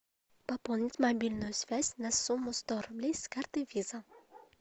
пополнить мобильную связь на сумму сто рублей с карты виза